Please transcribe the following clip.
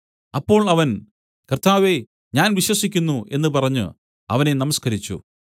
അപ്പോൾ അവൻ കർത്താവേ ഞാൻ വിശ്വസിക്കുന്നു എന്നു പറഞ്ഞു അവനെ നമസ്കരിച്ചു